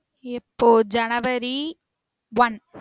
எப்போ January one